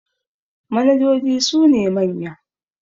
manojoji sune manya